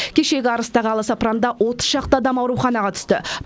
кешегі арыстағы аласапыранда отыз шақты адам ауруханаға түсті